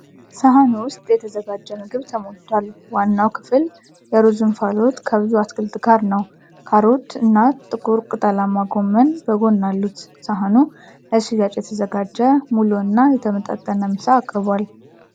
ሰሃኑ ውስጥ የተዘጋጀ ምግብ ተሞልቷል። ዋናው ክፍል የሩዝ እንፋሎት ከብዙ አትክልት ጋር ነው። ካሮት እና ጥቁር ቅጠላማ ጎመን በጎን አሉት። ሳህኑ ለሽያጭ የተዘጋጀ ሙሉ እና የተመጣጠነ ምሳ አቅርቧል።